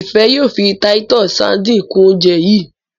Ifẹ yóò fí Titus sardines kún oúnjẹ yi.